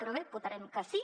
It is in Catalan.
però bé votarem que sí